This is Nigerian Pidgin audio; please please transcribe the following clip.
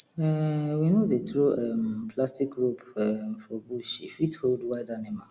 um we no dey throw um plastic rope um for bush e fit hold wild animal